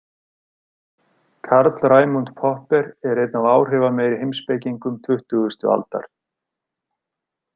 Karl Raimund Popper er einn af áhrifameiri heimspekingum tuttugasta aldar.